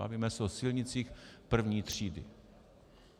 Bavíme se o silnicích první třídy.